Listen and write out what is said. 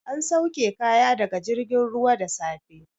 An sauke kaya daga jirgin ruwa da safe.